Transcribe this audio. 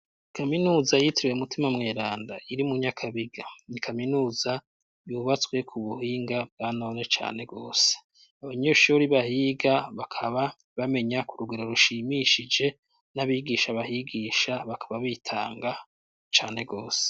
Kaminuza yitiriwe Mutima Mweranda iri mu Nyakabiga, ni kaminuza yubatswe ku buhinga bwa none cane rwose. Abanyeshuri bahiga bakaba bamenya ku rugero rushimishije n'abigisha bahigisha bakaba bitanga cane rwose.